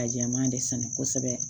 Ka jɛman de sɛnɛ kosɛbɛ